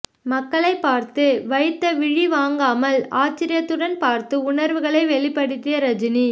மகளைப் பார்த்து வைத்த வி்ழி வாங்காமல் ஆச்சரியத்துடன் பார்த்து உணர்வுகளை வெளிப்படுத்திய ரஜினி